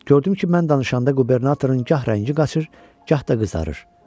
Gördüm ki, mən danışanda qubernatorun gah rəngi qaçır, gah da qızarır.